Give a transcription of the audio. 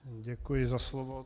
Děkuji za slovo.